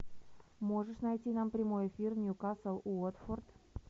можешь найти нам прямой эфир ньюкасл уотфорд